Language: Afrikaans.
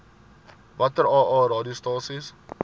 watter aa radiostasies